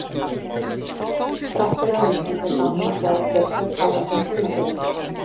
Þrátt fyrir að meiðslin héldu áfram að hrjá Petru kláraði hún tímabilið.